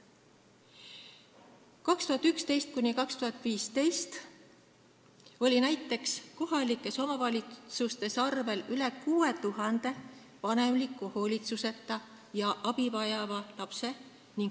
Näiteks oli aastatel 2011–2015 kohalikes omavalitsustes arvel üle 6000 vanemliku hoolitsuseta ja abi vajava lapse.